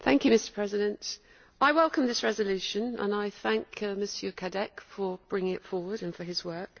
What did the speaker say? Mr President, I welcome this resolution and I thank Mr Cadec for bringing it forward and for his work.